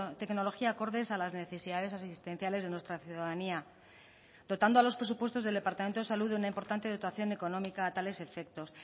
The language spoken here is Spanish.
tecnología acordes a las necesidades asistenciales de nuestra ciudadanía dotando a los presupuestos del departamento de salud de una importante dotación económica a tales efectos